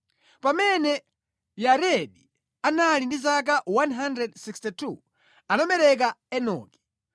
Pamene Yaredi anali ndi zaka 162, anabereka Enoki.